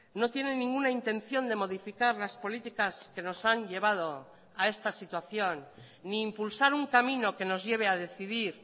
no tienen ninguna intención de modificar las políticas que nos han llevado a esta situación ni impulsar un camino que nos lleve a decidir